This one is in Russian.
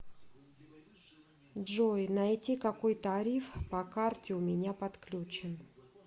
джой найти какой тариф по карте у меня подключен